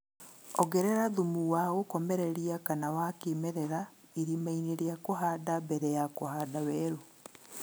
Ongerera thumu wa gũkomereria kana wa kĩmerera irimainĩ ria kuhanda mbere ya kũhanda weru